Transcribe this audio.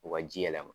U ka ji yɛlɛma